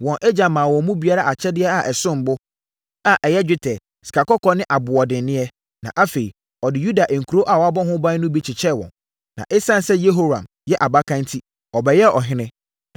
Wɔn agya maa wɔn mu biara akyɛdeɛ a ɛsom bo, a ɛyɛ dwetɛ, sikakɔkɔɔ ne aboɔdenneɛ, na afei, ɔde Yuda nkuro a wɔabɔ ho ban no bi kyekyɛɛ wɔn. Na ɛsiane sɛ Yehoram yɛ abakan enti, ɔbɛyɛɛ ɔhene.